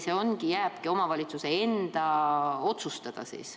Või jääbki see omavalitsuse enda otsustada?